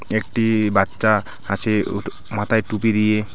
একটি বাচ্চা হাসে ও মাথায় টুপি দিয়ে .